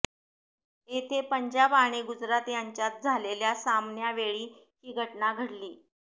येथे पंजाब आणि गुजरात यांच्यात झालेल्या सामन्यावेळी ही घटना घडली